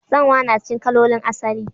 Tsanwa na cikin kalolin asali.